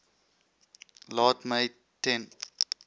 laat my ten